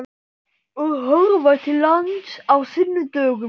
Og horfa til lands á sunnudögum.